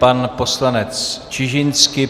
Pan poslanec Čižinský.